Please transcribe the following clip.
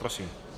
Prosím.